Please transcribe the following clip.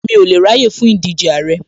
Mi ò lè ráyè fún ìdíje Àrẹ